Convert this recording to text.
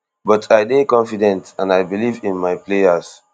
but i dey confident and i believe in my players